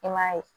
I m'a ye